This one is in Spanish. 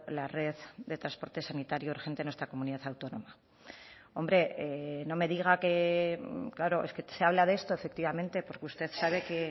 la red de transporte sanitario urgente en nuestra comunidad autónoma hombre no me diga que claro es que se habla de esto efectivamente porque usted sabe que